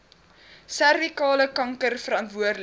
servikale kanker verantwoordelik